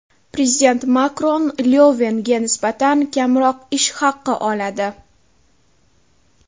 Prezident Makron Lyovenga nisbatan kamroq ish haqi oladi.